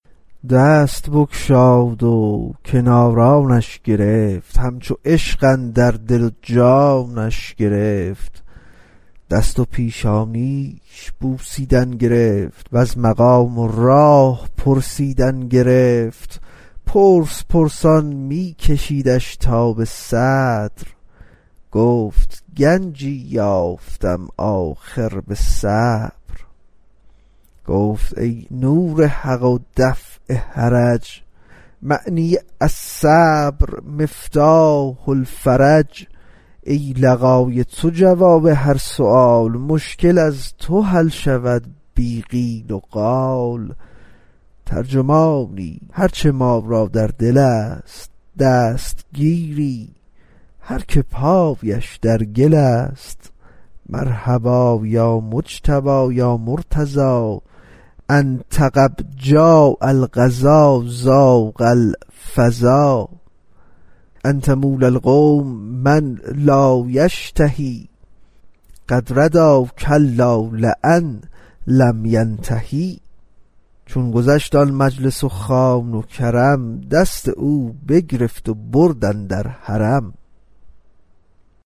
دست بگشاد و کنارانش گرفت همچو عشق اندر دل و جانش گرفت دست و پیشانیش بوسیدن گرفت وز مقام و راه پرسیدن گرفت پرس پرسان می کشیدش تا به صدر گفت گنجی یافتم آخر به صبر گفت ای نور حق و دفع حرج معنی الصبر مفتاح الفرج ای لقای تو جواب هر سؤال مشکل از تو حل شود بی قیل وقال ترجمانی هرچه ما را در دل است دستگیری هر که پایش در گل است مرحبا یا مجتبی یا مرتضی إن تغب جاء القضا ضاق الفضا انت مولی القوم من لا یشتهی قد ردی کلا لین لم ینتهی چون گذشت آن مجلس و خوان کرم دست او بگرفت و برد اندر حرم